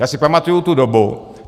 Já si pamatuju tu dobu.